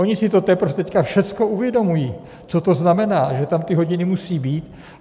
Oni si to teprve teď všechno uvědomují, co to znamená, že tam ty hodiny musí být.